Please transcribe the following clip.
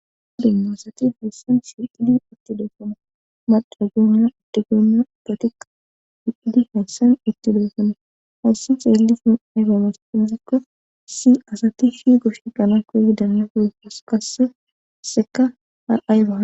odennoaosati hayssan siidi itti deefono madragooniya addigooniya patiqa hididi hayssan itti deefana hayssa xeelli sun aygamas izakko si asati fi goshe qanakkoidanya foyfas kasseseka ha7ay ba